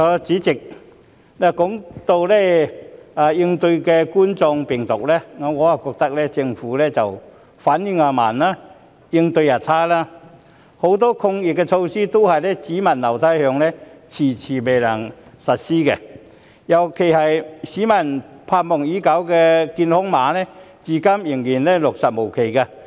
主席，談到應對冠狀病毒，我覺得政府反應慢及應對差，很多抗疫措施都"只聞樓梯響"，遲遲未能實施，尤其是市民盼望已久的健康碼，至今仍然落實無期。